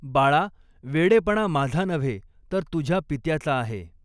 बाळा, वेडेपणा माझा नव्हे, तर तुझ्या पित्याचा आहे.